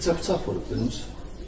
Neçə bıçaq vurub Qulamın?